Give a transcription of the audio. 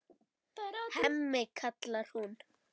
Hemmi, kallar hún.